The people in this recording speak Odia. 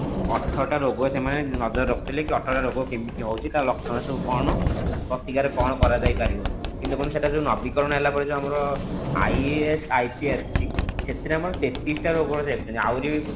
ଅଠର ଟା ରୋଗ ସେମାନେ ନଜରେ ରଖୁଥିଲେ କି ଅଠର ଟା ରୋଗ କେମିତି ହୋଉଛି ତାର ଲକ୍ଷଣ ସବୁ କଣ ତ ପ୍ରତିକାର କଣ କରାଯାଇ ପାରିବ କିନ୍ତୁ ଦେଖନ୍ତୁ ସେଟା ଯଉ ନବୀକରଣ ହେଲା ପରେ ଯୋଉ ଆମର IFIT ଆସୁଛି ସେଥିରେ ଆମର ତେତିଶ ଟା ରୋଗ ରହିଛି ଆହୁରି